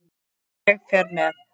Ég fer með